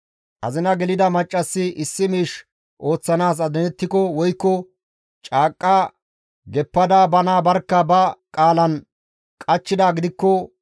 «Azina gelida maccassi issi miish ooththanaas adinettiko woykko caaqqa geppada bana barkka ba qaalan qachchidaa gidikko,